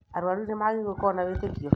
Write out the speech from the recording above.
Arwaru nĩmagĩrĩrirwo nĩ gũkorwo na wĩtĩkio